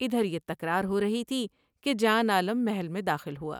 ادھر یہ تکرار ہورہی تھی کہ جان عالم محل میں داخل ہوا ۔